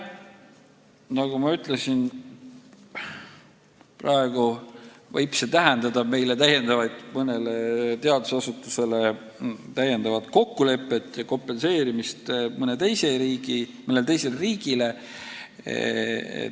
Nagu ma ütlesin, see võib tähendada mõnele teadusasutusele täiendavat kokkulepet ja kompenseerimist mõnele teisele riigile.